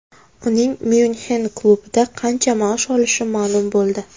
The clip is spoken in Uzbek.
Uning Myunxen klubida qancha maosh olishi ma’lum bo‘ldi.